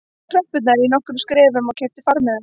Hann tók tröppurnar í nokkrum skrefum og keypti farmiða